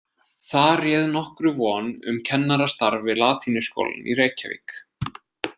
Þar réð nokkru von um kennarastarf við latínuskólann í Reykjavík.